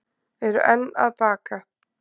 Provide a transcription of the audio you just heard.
Eru enn að baka